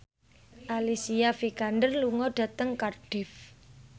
Alicia Vikander lunga dhateng Cardiff